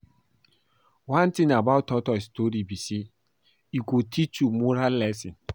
One thing about tortoise story be say e go teach moral lesson